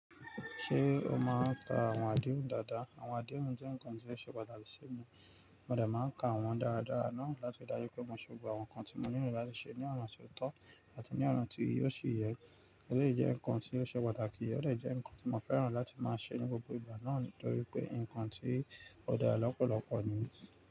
Ṣé o máa ka àwọn àdéhùn dáadáa? Àwọn àdéhùn jẹ́ ǹkan tó ṣe pàtàkì sí mi. Mo dà máa ka àwọn dáradára náà láti rí dájú pé mo ṣe gbogbo àwọn nǹkan tí mo nílò láti ṣe ní ọ̀na tó tọ́ àti ní ọ̀na ti ò sí yẹ. Eleyii jẹ́ ǹkan tí ó ṣe pàtàkì, ó lè jẹ́ ǹkan tí mo fẹ́ràn láti máa ṣe ní gbogbo ìgbà náà torí pé nǹkan tí ó dá ẹ lọ́pọ̀lọ́pọ̀ nìyí.